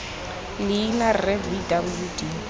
leina rre v w d